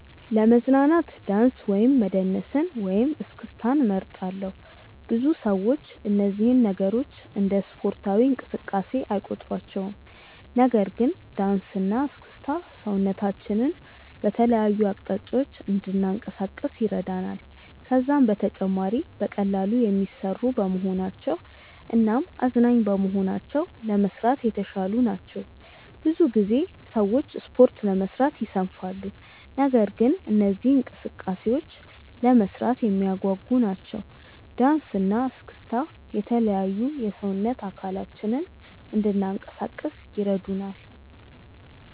ለመዝናናት ዳንስ መደነስን ወይም እስክስታን እመርጣለሁ። ብዙ ሰዎች እነዚህን ነገሮች እንደ ስፖርታዊ እንቅስቃሴ አይቆጥሯቸውም። ነገር ግን ዳንስ እና እስክስታ ሰውነታችንን በተለያዩ አቅጣጫዎች እንድናንቀሳቅስ ይረዳናል። ከዛም በተጨማሪ በቀላሉ የሚሰሩ በመሆናቸው እናም አዝናኝ በመሆናቸው ለመስራት የተሻሉ ናቸው። ብዙ ጊዜ ሰዎች ስፖርት ለመስራት ይሰንፋሉ። ነገር ግን እነዚህ እንቅስቃሴዎች ለመስራት የሚያጓጉ ናቸው። ዳንሰ እና እስክስታ የተለያዩ የሰውነት አካላችንን እንናንቀሳቀስ ይረዱናል።